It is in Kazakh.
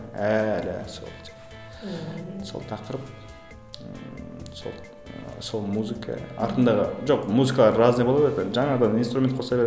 әлі сол сол тақырып ыыы сол ы сол музыка артындағы жоқ музыкалар разный бола береді ғой жаңадан инструмент қоса береді